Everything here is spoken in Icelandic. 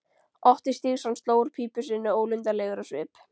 Otti Stígsson sló úr pípu sinni ólundarlegur á svip.